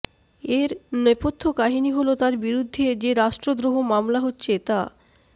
এর নৈপথ্য কাহিনী হলো তার বিরুদ্ধে যে রাষ্ট্রদ্রোহ মামলা হচ্ছে তা